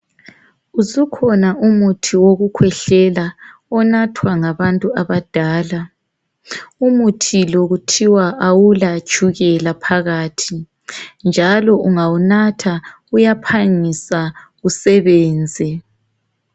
Usukhona umuthi wokukhwehlela onathwa ngabantu abadala umuthi lo kuthiwa awula tshukela phakathi njalo ungawunatha uyaphangisa usebenze.